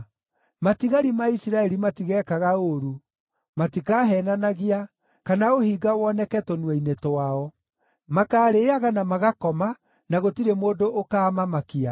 Matigari ma Isiraeli matigekaga ũũru; matikaheenanagia, kana ũhinga woneke tũnua-inĩ twao. Makaarĩĩaga na magakoma, na gũtirĩ mũndũ ũkaamamakia.”